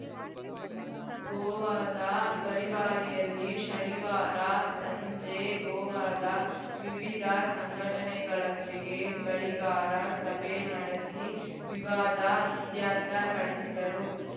ಗೋವಾದ ಪರಿವಾರಿಯಲ್ಲಿ ಶನಿವಾರ ಸಂಜೆ ಗೋವಾದ ವಿವಿಧ ಸಂಘಟನೆಗಳೊಂದಿಗೆ ಬೆಳಿಗಾರ ಸಭೆ ನಡೆಸಿ ವಿವಾದ ಇತ್ಯರ್ಥ ಪಡಿಸಿದರು